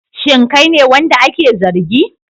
Shin kai ne wanda ake zargi?